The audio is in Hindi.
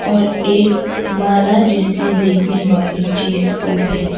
और एक माला जैसी देखने वाली चीज को भी --